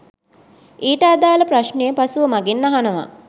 ඊට අදාල ප්‍රශ්නය පසුව මගෙන් අහනව